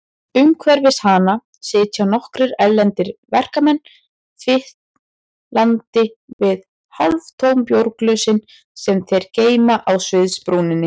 Umhverfis hana sitja nokkrir erlendir verkamenn, fitlandi við hálftóm bjórglösin sem þeir geyma á sviðsbrúninni.